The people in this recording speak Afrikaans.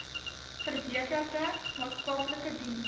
verbeterde maatskaplike dienste